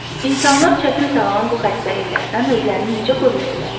İnsanlar çətin sağalan bu xəstəliklərdən özlərini necə qoruya bilərlər?